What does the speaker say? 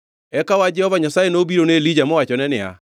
Eka wach Jehova Nyasaye nobiro ne Elija mowachone niya,